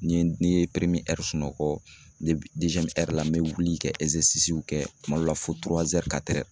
Ni n ye sunɔgɔ la n bɛ wuli ka kɛ kuma dɔ la fo